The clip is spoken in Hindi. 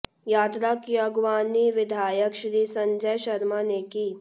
यात्रा की अगवानी विधायक श्री संजय शर्मा ने की